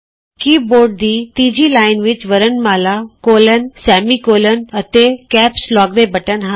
ਕੀ board ਦੀ ਤੀਜੀ line ਵਿਚ ਵਰਣਮਾਲਾ ਕੋਲੋਨਸੈਮੀਕੋਲੋਨ ਅਤੇ ਕੈਪਸ ਲੋਕ ਦੇ ਬਟਨ ਹਨ